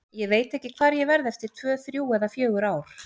Ég veit ekki hvar ég verð eftir tvö, þrjú eða fjögur ár.